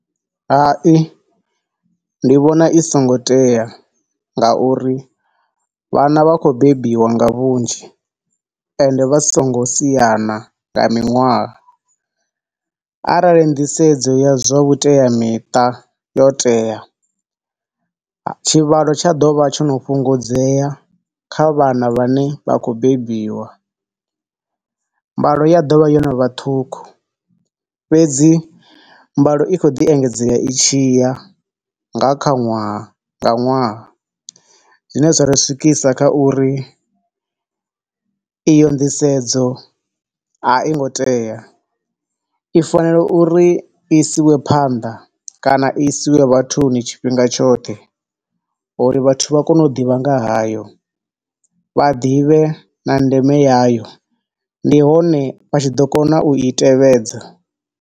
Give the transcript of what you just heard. Hai, ndi vhona isongo tea nga uri vhana vha khou bebiwa nga vhunzhi ende vha songo siana nga miṅwaha. Arali nḓisedzo ya zwa vhuteamiṱa yo tea, tshivhalo tsha ḓo vha tsho no fhungudzea kha vhana vhane vha khou bebiwa. Mbalo ya ḓo vha yo no vha ṱhukhu fhedzi mbalo i kho ḓi engedzea i tshi ya, nga kha ṅwaha nga ṅwaha. Zwine zwa ri swikisa kha uri iyo nḓisedzo a i ngo tea, i fanela uri i isiwe phanḓa kana i isiwe vhathuni tshifhinga tshoṱhe uri vhathu vha kone u ḓivha nga hayo, vha ḓivhe na ndeme yayo, ndi hone vha tshi ḓo kona u itevhedza.